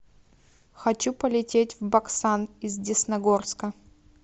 хочу полететь в баксан из десногорска